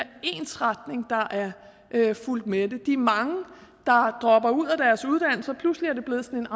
ensretning der er fulgt med det de mange der dropper ud af deres uddannelser pludselig blevet sådan